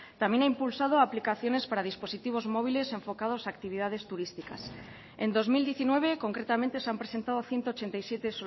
también ha impulsado aplicaciones para dispositivos móviles enfocados a actividades turísticas en dos mil diecinueve concretamente se han presentado ciento ochenta y siete